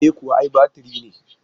E kuwa, ai batiri ne.